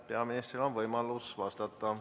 Peaministril on võimalus vastata.